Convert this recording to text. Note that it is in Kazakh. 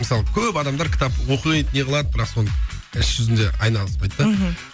мысалы көп адамдар кітапты оқиды неғылады бірақ соны іс жүзінде айналыспайды да мхм